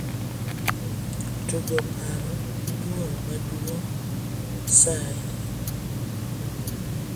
tugo paro gi dwol maduong' sai